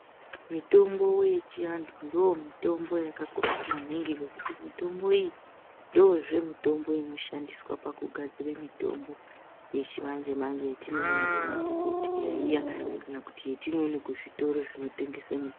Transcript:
Mitombo yechiantu ndomimbo yakakosha maningi ngekuti mitombo iyi ndozve mitombo inoshandiswa pakugadzire mitombo yechimanje manje yetinoona kuma dhokodheya iya kana kuti yatinoone kuzvitoro zvinotengeswe mitombo .